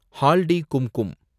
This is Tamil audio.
ஹால்டி கும்கும்